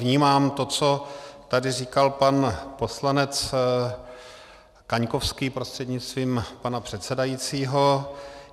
Vnímám to, co tady říkal pan poslanec Kaňkovský prostřednictvím pana předsedajícího.